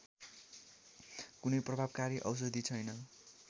कुनै प्रभावकारी औषधि छैन